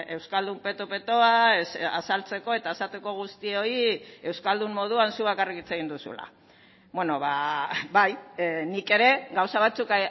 euskaldun peto petoa azaltzeko eta esateko guztioi euskaldun moduan zuk bakarrik hitz egin duzula bai nik ere gauza batzuk